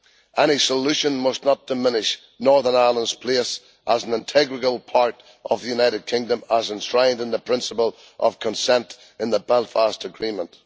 Any solution must not diminish Northern Ireland's place as an integral part of the United Kingdom, as enshrined in the principle of consent in the Belfast Agreement.